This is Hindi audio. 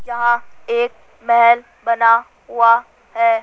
यहां एक महल बना हुआ है।